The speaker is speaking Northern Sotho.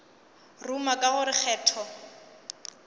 ruma ka go re kgetho